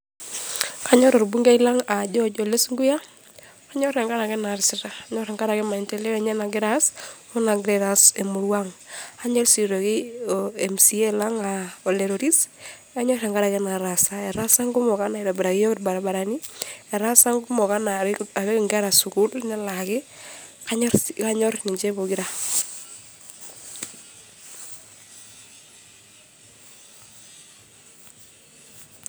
Kanyor orbungei lang aa George ole sunkuyia ,kanyor tenkaraki inaasita . Kanyor tenkaraki maendeleo enye nagira aas , onaagira aitaas emurua ang. Anyor sii aitoki , mca lang aa ole toris , kanyor tenkaraki inaataasa. Etaasa nkumok anaa aitobiraki iyiook irbaribarani , etaasa nkumok anaa apik inkera sukuul , nelaaki, kanyor ninche pokira .